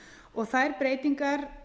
og þær breytingar